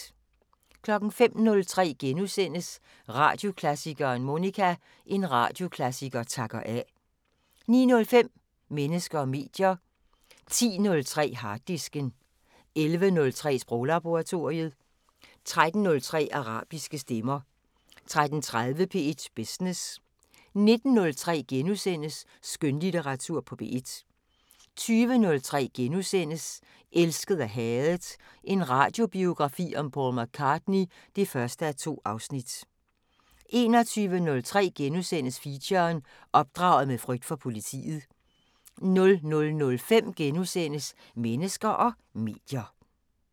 05:03: Radioklassikeren: Monica – En radioklassiker takker af * 09:05: Mennesker og medier 10:03: Harddisken 11:03: Sproglaboratoriet 13:03: Arabiske stemmer 13:30: P1 Business 19:03: Skønlitteratur på P1 * 20:03: Elsket og hadet – en radiobiografi om Paul McCartney (1:2)* 21:03: Feature: Opdraget med frygt for politiet * 00:05: Mennesker og medier *